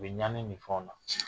U bɛ ɲagami minfɛnw na.